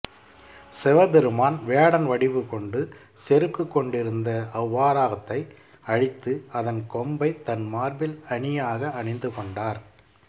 சிவபெருமான் வேடன் வடிவு கொண்டு செருக்குக் கொண்டிருந்த அவ்வராகத்தை அழித்து அதன் கொம்பை தன் மார்பில் அணியாக அணிந்து கொண்டார்